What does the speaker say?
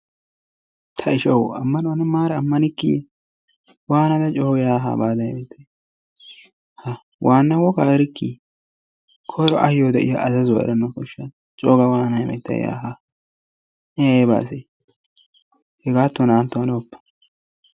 Tayshshawu aammanuwaa ne maara ammanikki waanada ne coogada hagaadan waa ne ammanoogaa erikkii? koyro ayoo de'iyaa azzazzuwaa eranawu kooshshasa. coo waanada heemmetay yaa haa? ne ayba asee? hegaatan na"antto hanoppa.